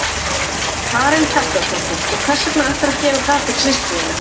Karen Kjartansdóttir: Og hvers vegna ætlarðu að gera það fyrir systur þína?